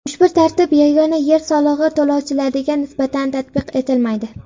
Ushbu tartib yagona yer solig‘i to‘lovchilariga nisbatan tatbiq etilmaydi.